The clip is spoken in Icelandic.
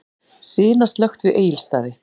Sina slökkt við Egilsstaði